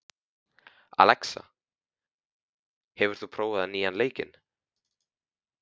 Alexa, hefur þú prófað nýja leikinn?